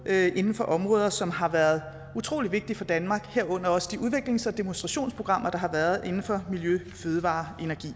inden for områder som har været utrolig vigtige for danmark herunder også de udviklings og demonstrationsprogrammer der har været inden for miljø fødevarer og energi